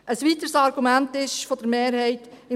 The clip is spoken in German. Ein weiteres Argument der Mehrheit ist: